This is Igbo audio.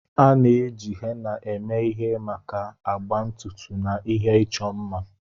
A na-eji henna eme ihe maka agba ntutu na ihe ịchọ mma.